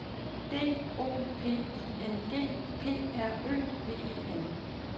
D O P I N G P R Ø V E N